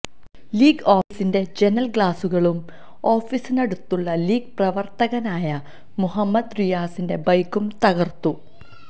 league ഓഫീസിന്റെ ജനല് ഗ്ലാസുകളും ഓഫീസിനടുത്തുള്ള ലീഗ് പ്രവര്ത്തകനായ മുഹമ്മദ് റിയാസിന്റെ ബൈക്കും തകര്ത്തു